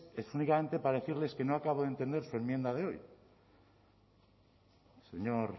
es únicamente para decirles que no acabo de entender su enmienda de hoy señor